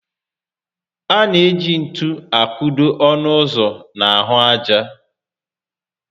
A na eji ntú a kụdo ọnụ ụzọ n'ahụ ájá